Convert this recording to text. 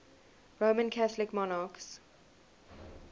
roman catholic monarchs